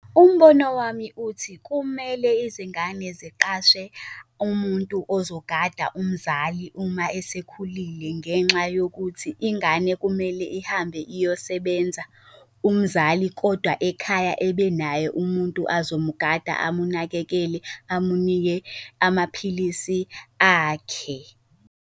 Umbono wami uthi kumele izingane ziqashe umuntu ozogada umzali uma esekhulile ngenxa yokuthi ingane kumele ihambe iyosebenza, umzali kodwa ekhaya ebenaye umuntu azomgada, amunakekele, amunike amaphilisi akhe.